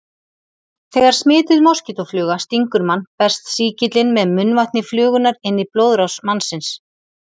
Þegar smituð moskítófluga stingur mann berst sýkillinn með munnvatni flugunnar inn í blóðrás mannsins.